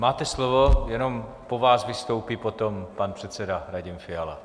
Máte slovo, jenom po vás vystoupí potom pan předseda Radim Fiala.